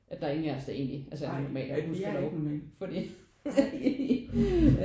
At der er ingen af os der egentlig altså er normale fordi det er vi ikke